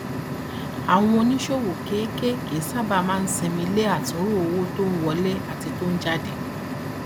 àwọn oníṣòwò kéékèèké sábà máa sinmi le àtúnrò owó tó ń wọlé àti tó ń jáde